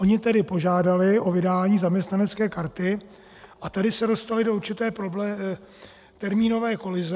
Oni tedy požádali o vydání zaměstnanecké karty a tady se dostali do určité termínové kolize.